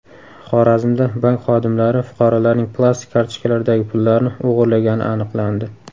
Xorazmda bank xodimlari fuqarolarning plastik kartochkalaridagi pullarni o‘g‘irlagani aniqlandi.